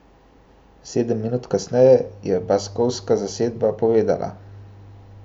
Sedem minut kasneje je baskovska zasedba povedla.